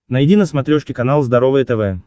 найди на смотрешке канал здоровое тв